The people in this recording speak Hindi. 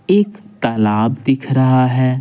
एक तालाब दिख रहा है।